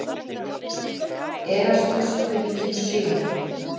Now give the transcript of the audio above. Erasmus, hvenær kemur sjöan?